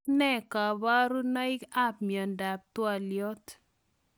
Tos nee kabarunoik ap miondop twolyot?